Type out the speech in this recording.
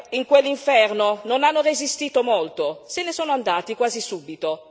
In quell'inferno non hanno resistito molto, se ne sono andati quasi subito.